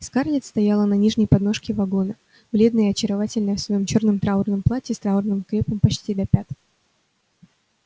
скарлетт стояла на нижней подножке вагона бледная и очаровательная в своём чёрном траурном платье с траурным крепом почти до пят